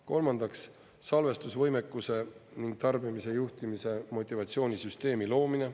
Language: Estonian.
Kolmandaks, salvestusvõimekuse ning tarbimise juhtimise motivatsioonisüsteemi loomine.